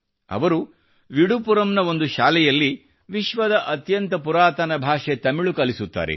ಅವರು ವಿಡುಪುರಂ ನ ಒಂದು ಶಾಲೆಯಲ್ಲಿ ವಿಶ್ವದ ಅತ್ಯಂತ ಪುರಾತನ ಭಾಷೆಯಾದ ತಮಿಳ್ ಕಲಿಸುತ್ತಾರೆ